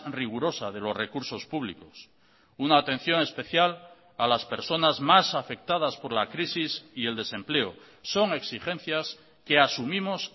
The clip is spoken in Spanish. rigurosa de los recursos públicos una atención especial a las personas más afectadas por la crisis y el desempleo son exigencias que asumimos